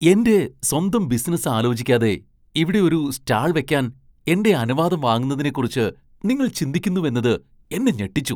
എന്റെ സ്വന്തം ബിസിനസ് ആലോചിക്കാതെ ഇവിടെ ഒരു സ്റ്റാൾ വെക്കാൻ എന്റെ അനുവാദം വാങ്ങുന്നതിനെക്കുറിച്ച് നിങ്ങൾ ചിന്തിക്കുന്നുവെന്നത് എന്നെ ഞെട്ടിച്ചു.